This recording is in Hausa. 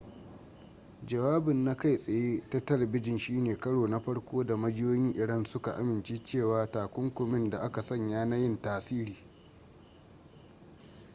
jawabin na kai tsaye ta talbijin shine karo na farko da majiyoyin iran suka amince cewa takunkumin da aka sanya na yin tasiri